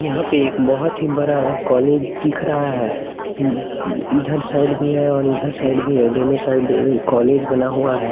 यहां पे एक बहोत ही बड़ा कॉलेज दिख रहा है इधर साइड भी है और इधर साइड भी है दोनों साइड कॉलेज बना हुआ है।